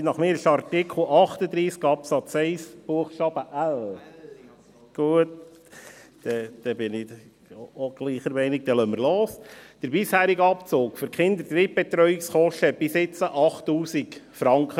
Meines Erachtens ist es der Artikel 38 Absatz 1 Buchstabe l. Gut, dann bin ich auch der gleichen Meinung, dann lassen wir los: Der bisherige Abzug für Kinderdrittbetreuungskosten betrug bis jetzt 8000 Franken.